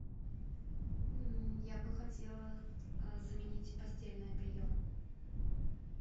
я бы хотела заменить постельное белье